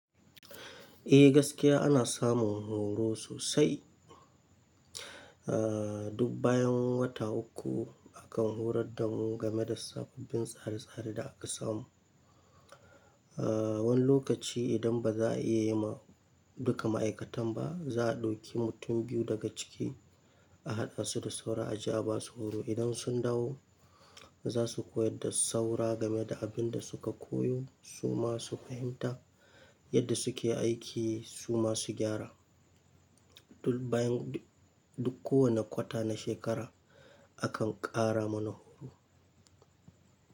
Eh gaskiya ana samun horo sosai. Aaa duk bayan wata uku akan horar da mu game da sababbin tsare tsare da aka samu. Aaa wani lokaci idan ba za a iya yi ma duka ma'aikatan ba, za a dauki mutum biyu daga ciki a haɗa su da saura a ja ba su horo. Idan sun dawo za su koyar da saura game da abin da suka koyo su ma su fahimta yadda suke aiki su ma su gyara. Duk bayan duk kowane kwata na shekara akan ƙara mana horo.